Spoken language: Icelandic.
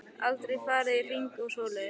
Aldrei farið í hringi og svoleiðis.